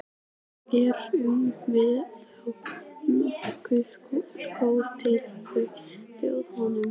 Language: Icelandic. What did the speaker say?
Erum við þá nógu góð til að þjóna honum?